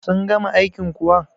sun gama aikin kuwa?